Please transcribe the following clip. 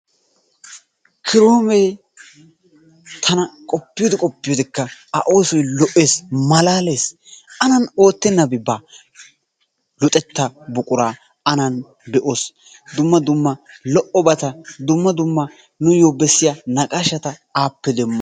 Kiroomee tana qoppiyode qoppiyodekka A oosoy lo"ees, malaalees. Anan oottennabi baa. Luxettaa buquraa anan lo"o be'oos. Dumma dumma lo"obata, dumma dumma nuuyyo bessiya naqaashshata appe demmoos.